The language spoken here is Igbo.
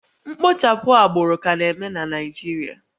Mkpochapụ agbụrụ ka na-eme na Naịjirịa